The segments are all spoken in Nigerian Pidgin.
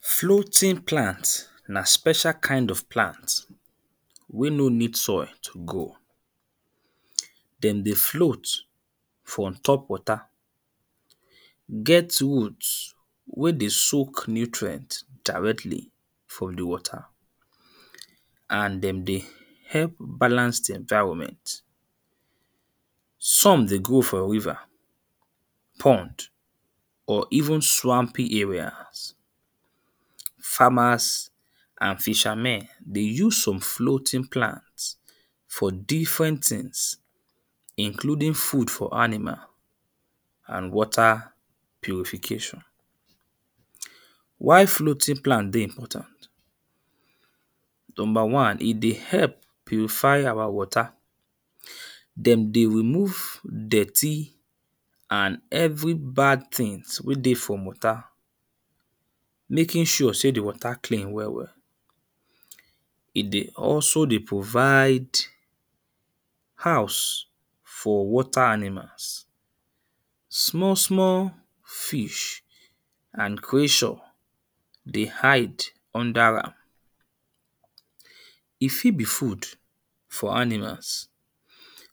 Floating plant na special kind of plant wey no need soil to grow. mhn Dem dey float for on top water. Get root wey dey soak nutrient directly from the water. And dem dey help balance the environment. Some dey grow for river pond or even swampy areas. Farmers and fishermen dey use some floating plants for different things. Including food for animal and water purification. Why floating plant dey important? Number one: E dey help purify our water. Dem dey remove dirty and every bad things wey dey for water. Making sure sey the water clean well well. E dey also dey provide house for water animals. Small small fish and creature dey hide under am. E fit be food for animals.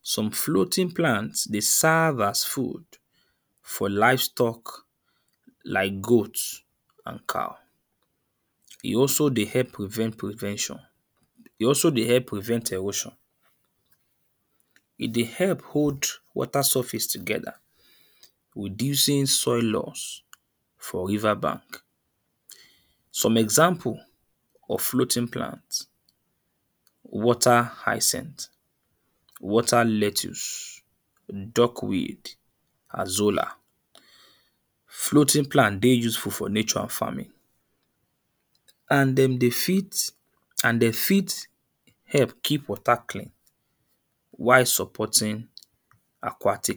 Some floating plants dey serve as food for livestock like goat and cow. E also dey help prevent prevention. E also dey help prevent erosion. E dey help hold water surface together. Reducing soil lose for river bank. Some example of floating plant water hyacinth, water lettuce, erm duckweed, azolla. Floating plant dey usefull for nature and farming and dem dey fit and de fit help keep water clean while supporting aquatic.